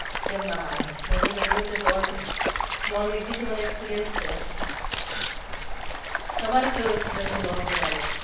કેમ ના માંગે મેં તો ઘણી વખતે loan loan લીધી છે મને experience છે. તમારો કેવો experience છે loan regarding